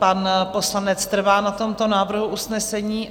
Pan poslanec trvá na tomto návrhu usnesení?